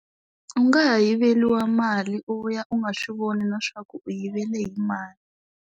U nga ha yiveriwa mali u vuya u nga swi voni na swa ku u yivele hi mani.